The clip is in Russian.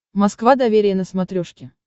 москва доверие на смотрешке